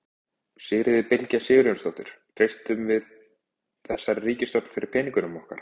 Sigríður Bylgja Sigurjónsdóttir: Treystum við þessari ríkisstjórn fyrir peningunum okkar?